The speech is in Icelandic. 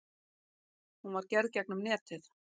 Hún var gerð gegnum netið.